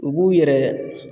U b'u yɛrɛ